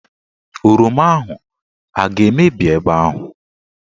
Oroma ahụ aga-emebi ebe ahụ?